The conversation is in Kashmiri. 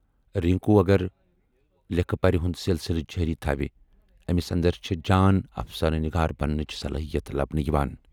رنکو اگر لیکھہٕ پرِ ہُند سِلسِلہٕ جٲری تھاوِ ٲمِس اندر چھے جان افسانہٕ نِگار بننٕچ صلٲحیت لبنہٕ یِوان۔